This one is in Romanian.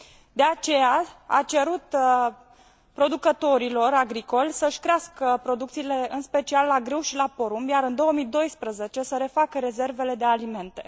De aceea, a cerut producătorilor agricoli să și crească producțiile, în special la grâu și la porumb, iar în 2012 să refacă rezervele de alimente.